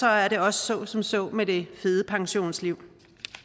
er det også så som så med det fede pensionsliv